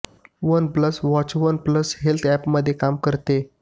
one plus watch one plus health अँपमध्ये काम करते